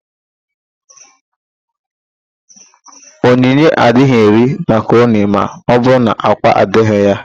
Onyinye agaghị eri makaroni ma ọbụrụ na ákwá adịghị ya.